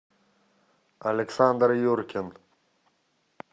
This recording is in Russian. александр юркин